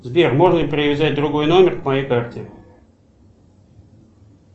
сбер можно ли привязать другой номер к моей карте